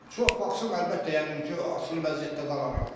Çox baxsam, əlbəttə, yəqin ki, asılı vəziyyətdə qalaram.